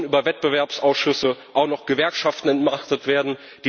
Nun sollen über Wettbewerbsausschüsse auch noch Gewerkschaften entmachtet werden.